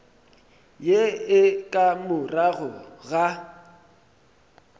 ye e ka morago ga